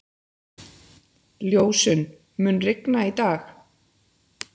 Ljósunn, mun rigna í dag?